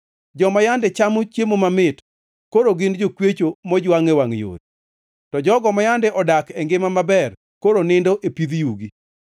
Joma yande chamo chiemo mamit, koro gin jokwecho mojwangʼ e wangʼ yore; to jogo ma yande odak e ngima maber koro nindo e pidh yugi.